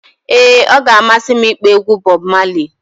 ee, ọ ga-amasị m ịkpọ egwu Bọb Mali